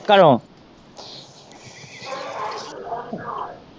ਘਰੋਂ।